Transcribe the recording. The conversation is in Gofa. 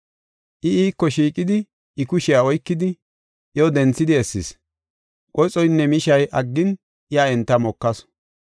I iiko shiiqidi, I kushiya oykidi, iyo denthidi essis. Qoxoynne mishay aggin iya enta mokasu.